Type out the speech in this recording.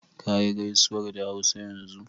Kayi gaisuwar da Hausa yanzu